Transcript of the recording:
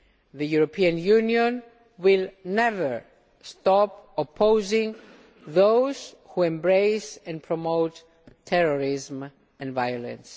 The European Union will never stop opposing those who embrace and promote terrorism and violence.